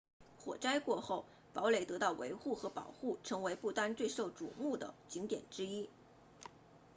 火灾过后堡垒得到维护和保护成为不丹最备受瞩目的景点之一